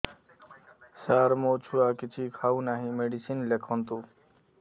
ସାର ମୋ ଛୁଆ କିଛି ଖାଉ ନାହିଁ ମେଡିସିନ ଲେଖନ୍ତୁ